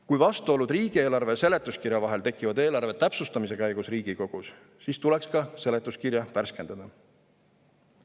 Kui vastuolud riigieelarve ja seletuskirja vahel tekivad eelarve täpsustamise käigus Riigikogus, siis tuleks ka seletuskirja värskendada.